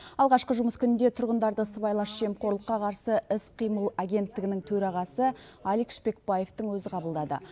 алғашқы жұмыс күнінде тұрғындарды сыбайлас жемқорлыққа қарсы іс қимыл агенттігінің төрағасы алик шпекбаевтың өзі қабылдады